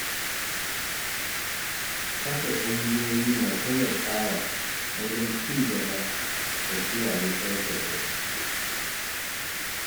Kafa ƙungiyoyi na taimakawa wajen ci gaba da kiyaye tsaftar gari.